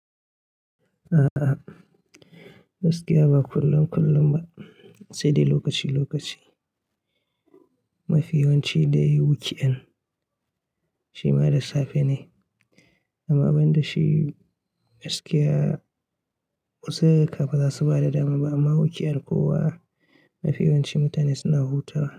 A'a, gaskiya ba kullum kullum ba, sai dai lokaci lokaci. Mafi yawan ci dai weekend shima da safe ne. Amma ban da shi gaskiya kusan ba za su ba da dama ba amma weekend kowa mafi yawanci mutane suna hutawa.